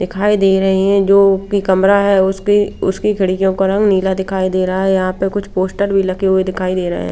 दिखाई दे रहे हैं जो की कमरा है उसके उसकी घड़ीयों का रंग नीला दिखाई दे रहा है यहां पे कुछ पोस्टर भी लगे हुए दिखाई दे रहें--